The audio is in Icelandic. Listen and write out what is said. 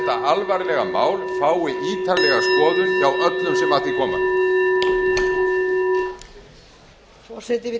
alvarlega mál fái ítarlega skoðun hjá öllum sem að því koma